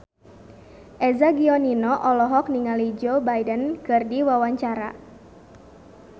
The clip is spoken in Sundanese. Eza Gionino olohok ningali Joe Biden keur diwawancara